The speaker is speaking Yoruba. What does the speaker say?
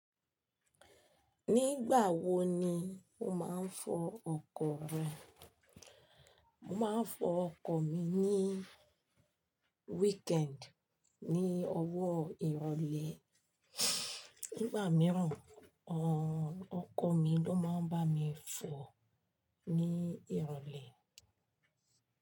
Nígbà wo ni o máa ń fọ ọkọ̀ rẹ? Mo máa ń fọ ọkọ̀ mi ní weekend, ní ọwọ́ ìrọ̀lẹ́. Nígbà mìíràn, ọkọ mi ló máa ń bá mi fọ ní ìrọ̀lẹ́